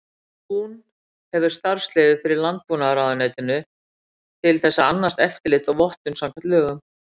Tún hefur starfsleyfi frá Landbúnaðarráðuneytinu til þess að annast eftirlit og vottun samkvæmt lögum.